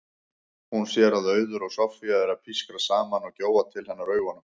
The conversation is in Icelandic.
Hún sér að Auður og Soffía eru að pískra saman og gjóa til hennar augunum.